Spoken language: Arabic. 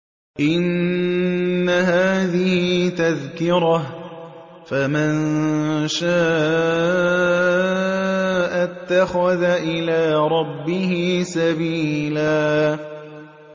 إِنَّ هَٰذِهِ تَذْكِرَةٌ ۖ فَمَن شَاءَ اتَّخَذَ إِلَىٰ رَبِّهِ سَبِيلًا